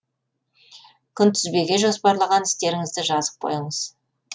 күнтізбеге жоспарлаған істеріңізді жазып қойыңыз